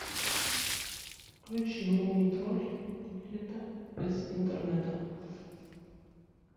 включи мумий тролль лето без интернета